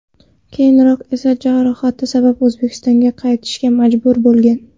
Keyinroq esa jarohati sabab O‘zbekistonga qaytishga majbur bo‘lgan.